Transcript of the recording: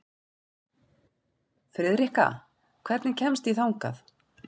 Friðrikka, hvernig kemst ég þangað?